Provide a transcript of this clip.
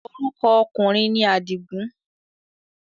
Orúkọ ọkùnrin ni Àdìgùn.